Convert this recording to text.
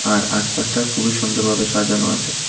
আর আশপাশটা খুবই সুন্দরভাবে সাজানো আছে।